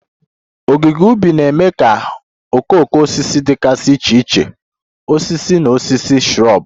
Ogige ubi na-eme ka okooko osisi dịgasị iche iche, osisi na osisi shrub.